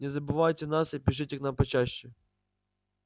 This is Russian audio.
не забывайте нас и пишите к нам почаще